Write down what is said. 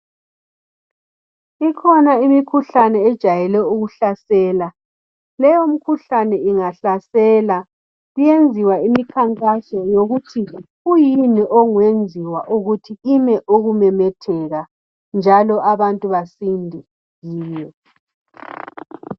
Ikhona imikhuhlane ejayele ukuhlasela. Leyomkhuhlane ingahlasela kuyenziwa imikhankaso yokuthi kuyini okungenziwa ukuthi ime ukumemetheka, njalo abantu basinde kiyo.